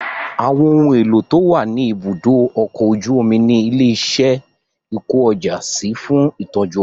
Àwọn ohun èlò to wà ní ibùdó ọkọ̀ ojú omi ni ilé iṣẹ́ ìkó ọjà sí fún ìtọ́jú ọjà